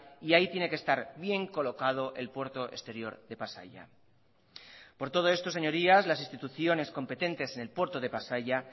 y ahí tiene que estar bien colocado el puerto exterior de pasaia por todo esto señorías las instituciones competentes en el puerto de pasaia